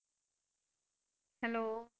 Hello.